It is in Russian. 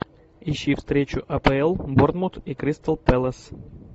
ищи встречу апл борнмут и кристал пэлас